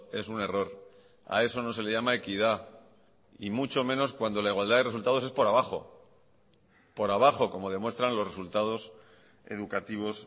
es un error a eso no se le llama equidad y mucho menos cuando la igualdad de resultados es por abajo por abajo como demuestran los resultados educativos